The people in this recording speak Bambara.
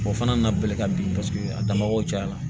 O fana na belebele ka bin paseke a damako cayara